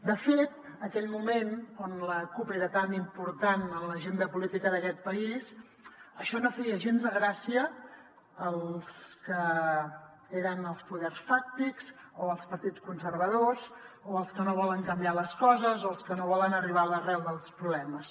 de fet aquell moment en què la cup era tan important en l’agenda política d’aquest país això no feia gens de gràcia als que eren els poders fàctics o als partits conservadors o als que no volen canviar les coses o als que no volen arribar a l’arrel dels problemes